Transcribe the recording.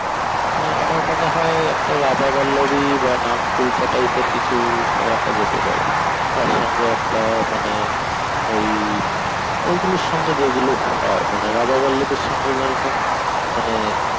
আহ আমার মনে হয় একটা রাধা পল্লবী বা নানকুলচা type এর কিছু রাখা যেতে পারে তার সঙ্গে একটা মানে ওই ওই গুলোর সঙ্গে যেরকম হয়, মানে রাধা পল্লবীর সঙ্গে যেরকম মানে